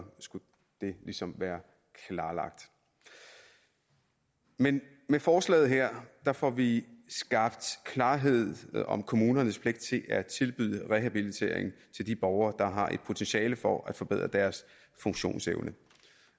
skulle det ligesom være klarlagt men med forslaget her får vi skabt klarhed om kommunernes pligt til at tilbyde rehabilitering til de borgere der har et potentiale for at forbedre deres funktionsevne